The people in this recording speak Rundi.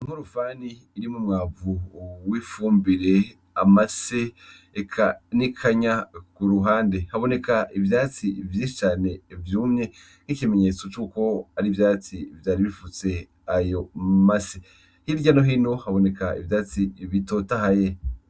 Nk'urufani irimu umwavu w'ifumbire amase ekanikanya ku ruhande haboneka ivyatsi vyiscane vyumye nk'ikimenyetso c'uko ari ivyatsi vyari bifutse ayo mase hirya no hino haboneka ivyatsi bitotahaye.